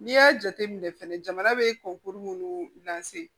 N'i y'a jateminɛ fɛnɛ jamana bɛ kɔnkuru munnu